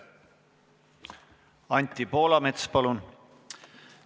Anti Poolamets, palun!